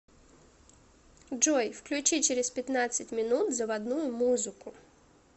джой включи через пятнадцать минут заводную музыку